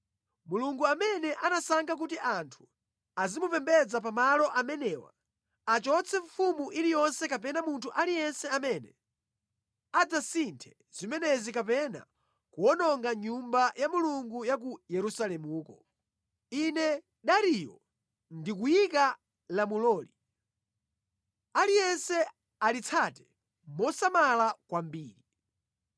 Mulungu amene anasankha kuti anthu azimupembedza pa malo amenewa, achotse mfumu iliyonse kapena munthu aliyense amene adzasinthe zimenezi kapena kuwononga Nyumba ya Mulungu ya ku Yerusalemuko. Ine Dariyo ndikuyika lamuloli, aliyense alitsate mosamala kwambiri.